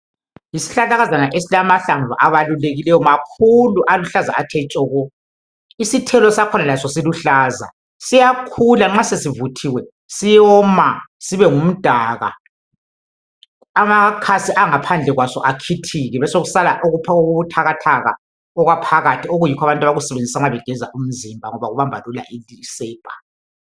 Yisihlahlakazana esilamahlamvu abalulekileyo makhulu aluhlaza athe tshoko. Isithelo sakhona laso siluhlaza siyakhula nxa sesivuthiwe siwoma sibe ngumdaka, amakhansi angaphandle kwaso akhithike besekusala okubuthakathaka okwaphakathi okuyikho abantu abakusebenzisa nxa begeza umzimba ngoba kumba lula isepa.